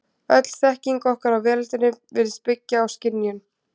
Öll þekking okkar á veröldinni virðist byggja á skynjun.